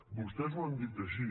vostès ho han dit així